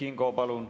Ei, siiski.